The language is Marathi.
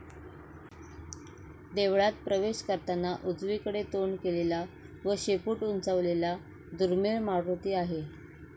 देवळात प्रवेश करताना उजवीकडे तोंड केलेला व शेपूट उंचावलेला दुर्मिळ मारूती आहे.